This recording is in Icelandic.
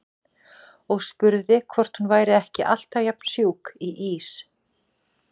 Og spurði hvort hún væri ekki alltaf jafn sjúk í ís.